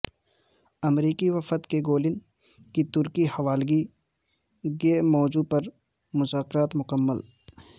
امریکی وفد کے گولن کی ترکی حوالگی کے موضوع پر مذاکرات مکمل